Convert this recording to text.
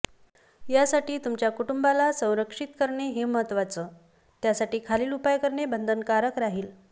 यासाठी तुमच्या कुटुंबाला संरक्षित करणे हे महत्त्वाचं त्यासाठी खालील उपाय करणे बंधनकारक राहील